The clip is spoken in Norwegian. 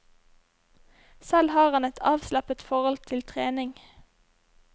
Selv har han et avslappet forhold til trening.